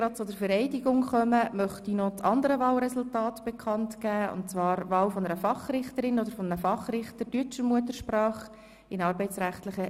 Bei 141 ausgeteilten und 140 eingegangenen Wahlzetteln, wovon leer 9, und ungültig 0, in Betracht fallend 131, wird bei einem absoluten Mehr von 66 gewählt: